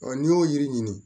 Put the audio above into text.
n'i y'o yiri ɲini